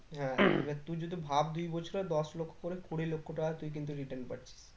হ্যাঁ এবার তুই যদি ভাববি বছরে দশ লক্ষ করে কুড়ি লক্ষ টাকা তুই কিন্তু return পাচ্ছিস